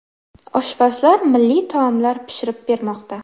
Oshpazlar milliy taomlar pishirib bermoqda.